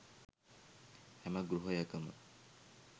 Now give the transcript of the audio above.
හැම ගෘහයකම